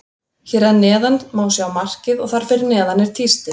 Hér að neðan má sjá markið og þar fyrir neðan er tístið.